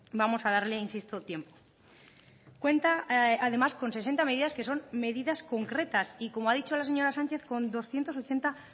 vamos a darle insisto tiempo cuenta además con sesenta medidas que son medidas concretas y como ha dicho la señora sánchez con doscientos ochenta